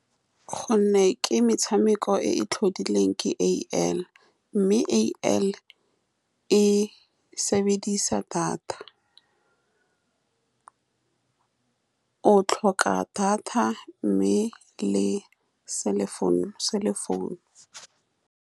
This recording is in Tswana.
Ka gonne ke metshameko e e tlhodilweng ke A_I, mme A_I e sebedisa data. O tlhoka data, mme le cellphone, cellphone.